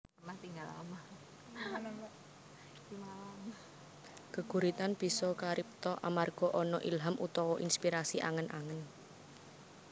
Geguritan bisa karipta amarga ana ilham utawa inspirasi angen angen